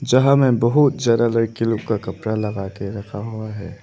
यहां में बहुत ज्यादा लड़की लोग का कपड़ा लगा के रखा हुआ है।